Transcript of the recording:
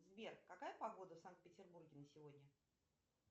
сбер какая погода в санкт петербурге на сегодня